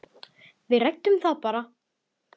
Við ræddum það bara.